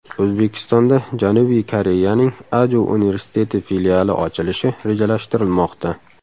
O‘zbekistonda Janubiy Koreyaning Aju universiteti filiali ochilishi rejalashtirilmoqda.